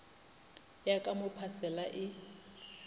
ya ka mo phasela e